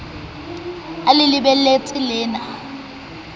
a le lebeletse le ne